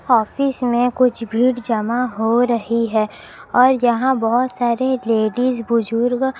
office में कुछ भीड़ जमा हो रही है और यहां बहोत सारे लेडिज बुजुर्ग--